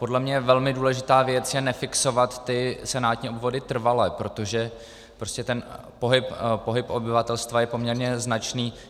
Podle mě velmi důležitá věc je nefixovat ty senátní obvody trvale, protože prostě ten pohyb obyvatelstva je poměrně značný.